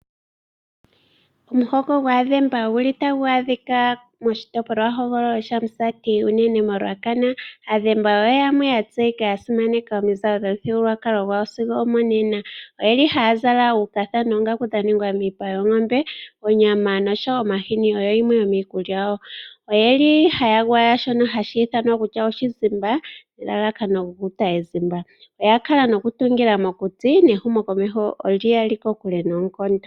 Omuhoko gwAadhemba otagu adhika moshitopolwahogololo shaMusati, unene koRuacana. Aadhemba oyo yamwe ya tseyika ya simaneka omuzalo gomuthigululwakalo gwawo sigo omonena. Ohaya zala uukatha noongaku dha ningwa miipa yoongombe. Onyama nosho wo omahini oyo yimwe yomiikulya yawo. Oye li haya gwaya oshizimba, nelalakano lyokutidha po ezimba. Oya kala nokutungila mokuti nehumokomeho oli ya li kokule noonkondo.